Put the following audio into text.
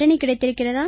கிடைத்திருக்கிறதா